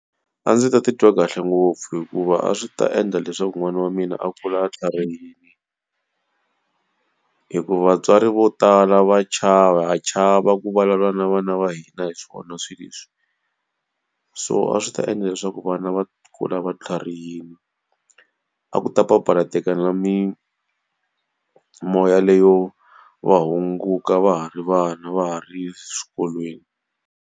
A ndzi ta titwa kahle ngopfu hikuva a swi ta endla leswaku n'wana wa mina a kula a tlharihile. Hikuva vatswari vo tala va chava ha chava ku vulavula na vana va hina hi swona swi leswi. So a swi ta endla leswaku vana va kula va tlharihile. A ku ta papalateka na mimoya leyo va hunguka va ha ri vana, va ha ri eswikolweni.